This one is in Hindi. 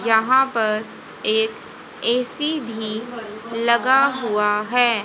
जहां पर एक ए_सी भी लगा हुआ है।